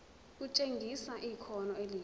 kutshengisa ikhono elihle